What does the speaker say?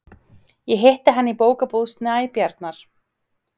Ég hitti hann í Bókabúð Snæbjarnar.